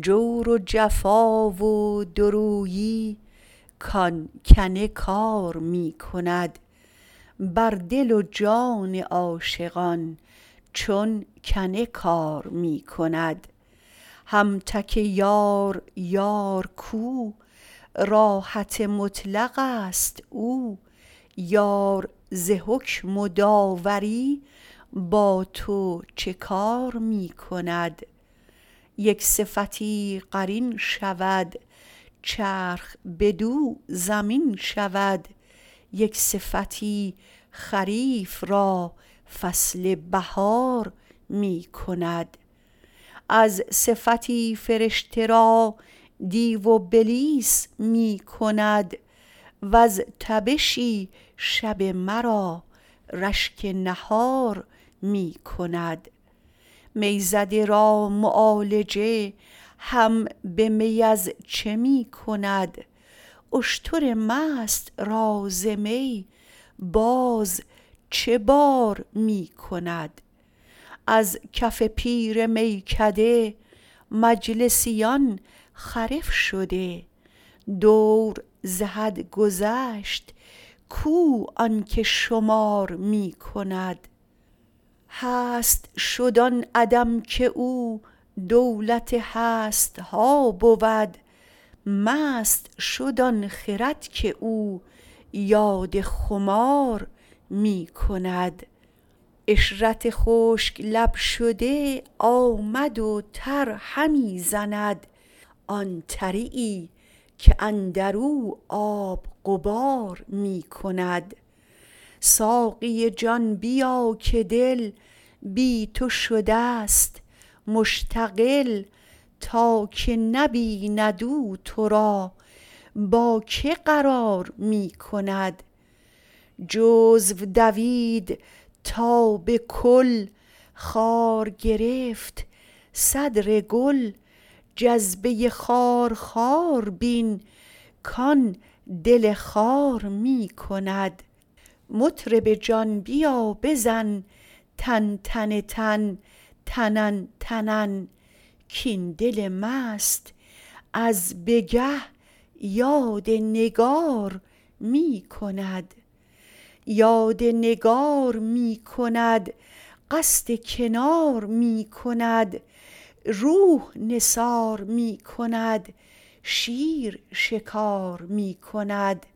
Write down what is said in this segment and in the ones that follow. جور و جفا و دوریی کان کنکار می کند بر دل و جان عاشقان چون کنه کار می کند هم تک یار یار کو راحت مطلقست او یار ز حکم و داوری با تو چه یار می کند یک صفتی قرین شود چرخ بدو زمین شود یک صفتی خریف را فصل بهار می کند از صفتی فرشته را دیو و بلیس می کند وز تبشی شب مرا رشک بهار می کند می زده را معالجه هم به می از چه می کند اشتر مست را ز می باز چه بار می کند از کف پیر میکده مجلسیان خرف شده دور ز حد گذشت کو آن که شمار می کند هست شد آن عدم که او دولت هست ها بود مست شد آن خرد که او یاد خمار می کند عشرت خشک لب شده آمد و تر همی زند آن تریی که اندر او آب غبار می کند ساقی جان بیا که دل بی تو شدست مشتغل تا که نبیند او تو را با کی قرار می کند جزو دوید تا به کل خار گرفت صدر گل جذبه خارخار بین کان دل خار می کند مطرب جان بیا بزن تن تتنن تنن تنن کاین دل مست از به گه یاد نگار می کند یاد نگار می کند قصد کنار می کند روح نثار می کند شیر شکار می کند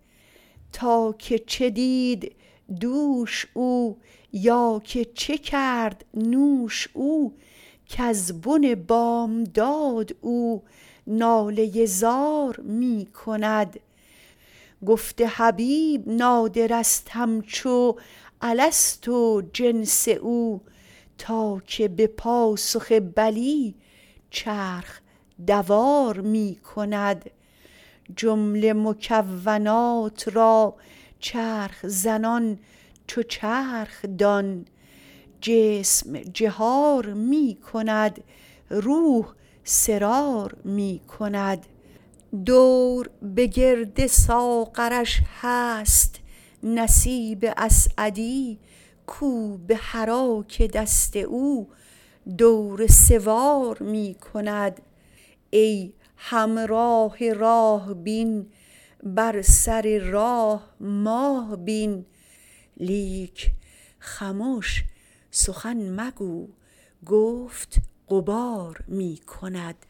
تا که چه دید دوش او یا که چه کرد نوش او کز بن بامداد او ناله زار می کند گفت حبیب نادرست همچو الست و جنس او تا که به پاسخ بلی چرخ دوار می کند جمله مکونات را چرخ زنان چو چرخ دان جسم جهار می کند روح سرار می کند دور به گرد ساغرش هست نصیب اسعدی کو بحراک دست او دور سوار می کند ای همراه راه بین بر سر راه ماه بین لیک خمش سخن مگو گفت غبار می کند